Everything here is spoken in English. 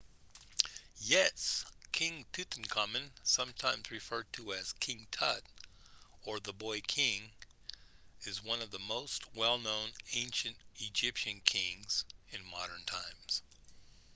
yes king tutankhamun sometimes referred to as king tut or the boy king is one of the most well known ancient egyptian kings in modern times